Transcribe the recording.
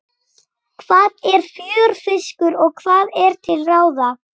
Hvað er fjörfiskur og hvað er til ráða?